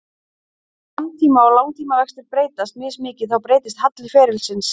Ef skammtíma- og langtímavextir breytast mismikið þá breytist halli ferilsins.